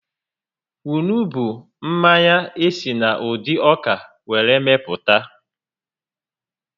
Kwunu bụ mmanya esi na ụdị ọka were mepụta